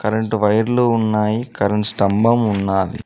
Current వైర్లు ఉన్నాయి current స్తంభం ఉన్నాది.